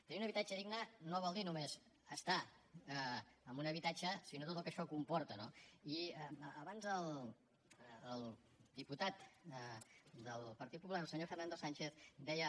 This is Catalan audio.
tenir un habitatge digne no vol dir només estar en un habitatge sinó tot el que això comporta no i abans el diputat del partit popular el senyor fernando sánchez deia